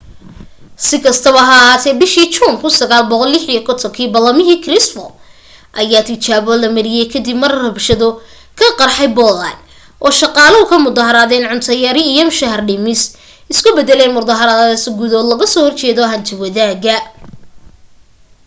si kastaba ha ahaatee bishii juun 1956 ballamihii krushchev ayaa tijaabo la mariyay ka dib mar rabshado ka qarxay poland oo shaqaaluhu ka mudaharaadayeen cunto yari iyo mushahar dhimis isu beddeleen muddaharaad guud oo lagaga soo horjeedo hanti-wadaagga